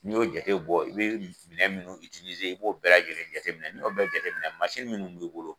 N'i y'o jate bɔ i bɛ minɛn minnu i b'o bɛɛ lajɛlen jateminɛ n'o bɛɛ jateminɛ mansin minnu b'i bolo